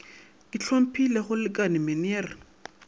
ke hlomphile go lekane meneer